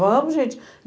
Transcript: Vamos, gente.